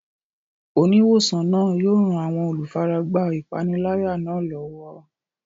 Oníwòsàn náà yóò ran àwọn olùfaragbá ìpániláyà náà lọ́wọ́.